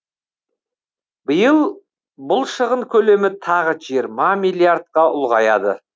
биыл бұл шығын көлемі тағы жиырма миллиардқа ұлғаяды